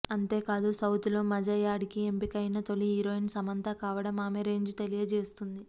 అంతేకాదు సౌత్ లో మజా యాడ్ కి ఎంపిక అయిన తోలి హీరోయిన్ సమంత కావడం ఆమె రేంజ్ తెలియచేస్తుంది